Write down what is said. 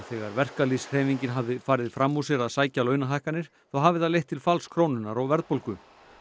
þegar verkalýðshreyfingin hafi farið fram úr sér að sækja launahækkanir þá hafi það leitt til falls krónunnar og verðbólgu